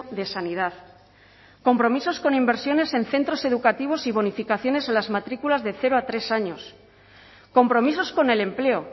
de sanidad compromisos con inversiones en centros educativos y bonificaciones a las matrículas de cero a tres años compromisos con el empleo